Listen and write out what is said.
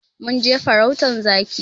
Mun je farautan zaki.